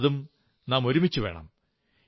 അതു നാം ഒരുമിച്ചു വേണം